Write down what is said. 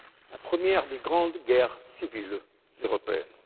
la première des grandes guerres civiles européennes.